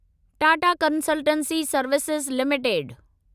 Tata consultancy services limited